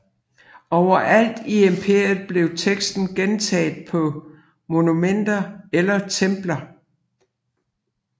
Overalt i imperiet blev teksten gentaget på monumenter eller templer